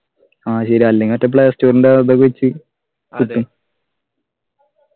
ആഹ് ശരിയാ അല്ലെങ്കി മറ്റെ play store ൻ്റെ അതൊവെച്ച് കിട്ടും